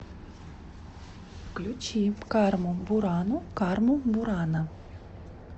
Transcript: включи карму бурану карму бурана